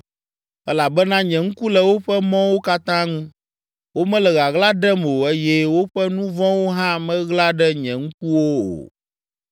Elabena nye ŋku le woƒe mɔwo katã ŋu, womele ɣaɣla ɖem o eye woƒe nu vɔ̃wo hã meɣla ɖe nye ŋkuwo o.